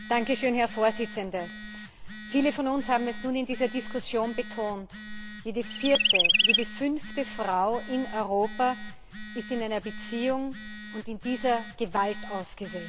Herr Präsident! Viele von uns haben es nun in dieser Diskussion betont Jede vierte, jede fünfte Frau in Europa ist in einer Beziehung und in dieser Gewalt ausgesetzt.